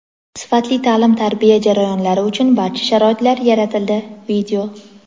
sifatli ta’lim-tarbiya jarayonlari uchun barcha sharoitlar yaratildi.